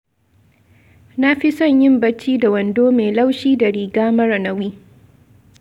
Na fi son yin bacci da wando mai laushi da riga mara nauyi.